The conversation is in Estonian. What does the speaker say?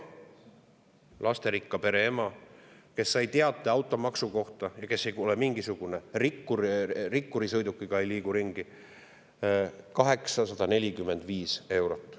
Lasterikka pere ema, kes ei ole mingisugune rikkur, rikkuri sõidukiga ringi ei liigu, sai teate automaksu kohta: 845 eurot.